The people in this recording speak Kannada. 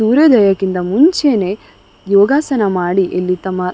ಸೂರ್ಯೋದಯಕ್ಕಿಂತ ಮುಂಚೆನೇ ಯೋಗಾಸನ ಮಾಡಿ ಇಲ್ಲಿ ತಮ್ಮ --